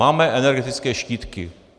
Máme energetické štítky.